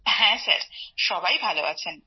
হ্যাঁ সবাই ভালো আছেন